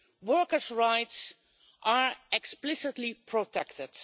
Workers' rights are explicitly protected.